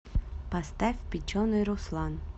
поставь печеный руслан